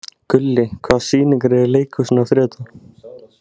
Gulli, hvaða sýningar eru í leikhúsinu á þriðjudaginn?